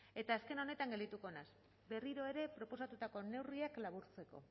eta azken honetan geldituko naiz berriro ere proposatutako neurriak laburtzeko